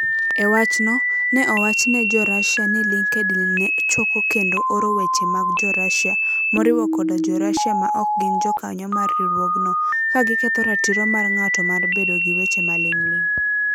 E wachno, ne owach ne jo Russia ni LinkedIn ne choko kendo oro weche mag jo Russia, moriwo koda Jo-Russia ma ok gin jokanyo mar riwruogno, ka giketho ratiro mar ng'ato mar bedo gi weche maling'ling'.